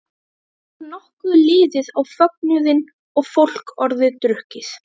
Þá var nokkuð liðið á fögnuðinn og fólk orðið drukkið.